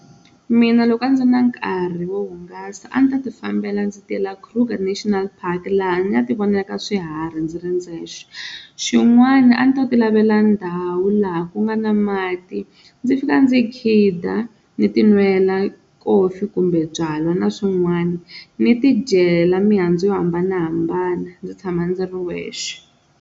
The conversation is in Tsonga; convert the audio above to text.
Mina loko a ndzi na nkarhi wo hungasa a ndzi ta ti fambela ndzi tela Kruger National Park laha ndzi nga ti vonelaka swiharhi ndzi ri ndzexe, xin'wana a ndzi ta ti lavela ndhawu laha ku nga na mati ndzi fika ndzi khida ni ti nwela coffee kumbe byalwa na swin'wana ni tidyela mihandzu yo hambanahambana ndzi tshama ndzi ri wexe.